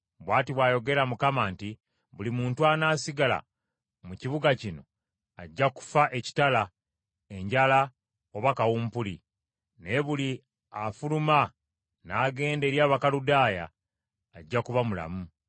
“Bw’ati bw’ayogera Mukama nti, ‘Buli muntu anaasigala mu kibuga kino ajja kufa ekitala, enjala oba kawumpuli, naye buli afuluma n’agenda eri Abakaludaaya ajja kuba mulamu.’